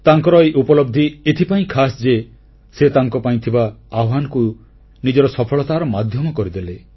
ତାଙ୍କର ଏହି ଉପଲବ୍ଧି ଏଥିପାଇଁ ଖାସ୍ ଯେ ସେ ତାଙ୍କ ପାଇଁ ଥିବା ଆହ୍ୱାନକୁ ନିଜର ସଫଳତାର ମାଧ୍ୟମ କରିଦେଲେ